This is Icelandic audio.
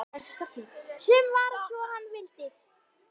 Svo varð sem hann vildi.